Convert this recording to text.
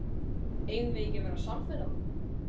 Eigum við ekki að verða samferða?